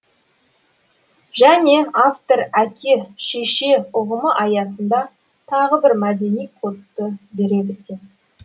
және автор әке шеше ұғымы аясында тағы бір мәдени кодты бере білген